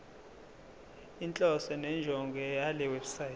inhloso nenjongo yalewebsite